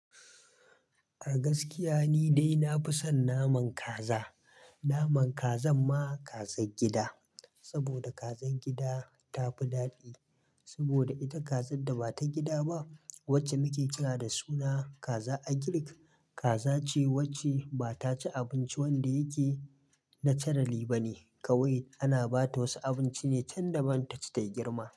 A gaskiya ni dai na fi son naman kaza. Naman kazan ma kazan gida, saboda kazan gida tafi daɗi. Saboda ita kazan da ba ta gida ba wacce muke kira da suna kaza agirik, kaza ce wacce ba ta ci abinci wanda yake na carali ba ne kawai ana ba ta wasu abinci ne can da ban tace ta girma.